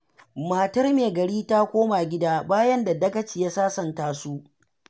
Matar Me Gari ta koma gida, bayan da Dagaci ya sasanta su.